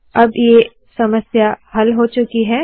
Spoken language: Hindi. अब ये समस्या हल हो चुकी है